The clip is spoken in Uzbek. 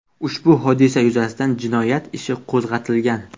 Ushbu hodisa yuzasidan jinoyat ishi qo‘zg‘atilgan.